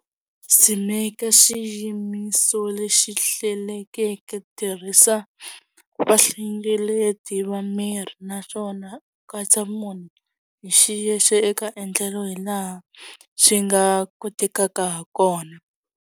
Tshimeka xiyimiso lexi hlelekeke, tirhisa vahlengeleti va miri naswona u katsa munhu hi xiyexe eka endlelo hi laha xi nga kotekaka ha kona.